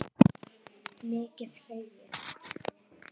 Mikið hlegið.